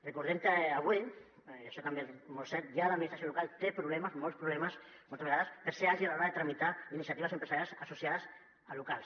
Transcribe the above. recordem que avui i això també és molt cert ja l’administració local té problemes molts problemes moltes vegades per ser àgil a l’hora de tramitar iniciatives empresarials associades a locals